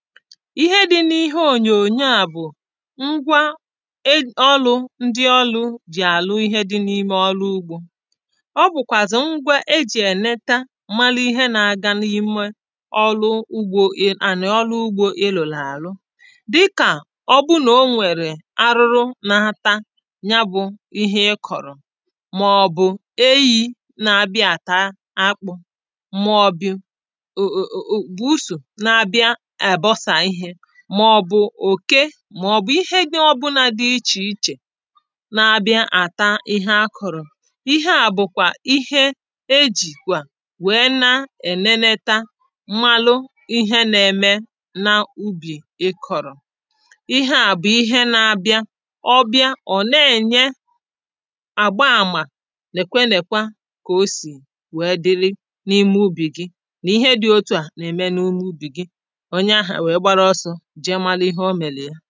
Ihe dị̄ n’ihe ònyònyo à bụ̀ ngwa ọlụ ndị ọlụ jì àlụ ihe dị̄ n’ime ọlụ ugbō ọ bʊ̣̀kʷàzị̀ ngwa ejì èneta malị ihe n’aga n’ime ànị̀ ọlụ ugbō ị lụ̀lụ̀ àlụ dịkà ọ bụ nà o nwèrè arụrụ na-ata nya bụ̄ ihe ị kọ̀rọ̀ màọ̀bụ̀ eyī na-abia àta akpə̄ mɔ̀bɪ̀ bùusù na-abịa àbọsā ihē màọ̀bụ̀ òke màọ̀bụ̀ ihe nā ọbụlā dị ichè ichè na-abịa àta ihe a kọ̀rọ̀ Ihe à bụ̀ ihe ejìkwà wèe na-èneneta malụ ihe na-eme n’ubì ị kọ̀rọ̀ Ihe à bụ̀ ihe na-abịa, ọ bịa ọ̀ na-ēnye àgba àmà lèkwe lèkwa kà o sì wèe dịlị n’ime ubì gi, n’ihe dị̄ etu à nà-ème n’ime ubì gi onye ahụ̀ àwe gbara ọsọ̄ jee malụ ihe o mèlì ye